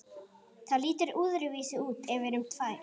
Það lítur öðruvísi út ef við erum tvær.